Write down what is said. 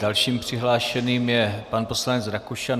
Dalším přihlášeným je pan poslanec Rakušan.